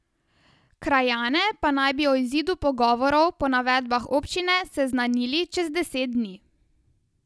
Krajane pa naj bi o izidu pogovorov po navedbah občine seznanili čez deset dni.